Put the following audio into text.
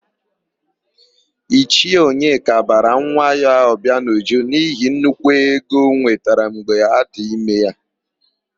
Ichie Onyeka bara nwa ya Ọbịanuju n'ihi nnukwu ego ọ nwetara mgbe adị ime ya.